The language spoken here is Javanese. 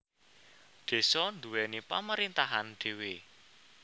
Désa nduwèni pemerintahan dhéwé